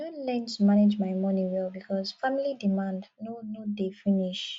i don learn to manage my moni well because family demand no no dey finish